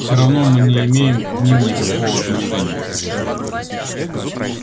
всё равно мы не имеем к ним никакого отношения